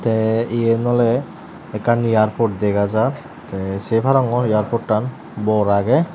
te iyen oley ekkan airport degajar te se parongor airportan bor agey.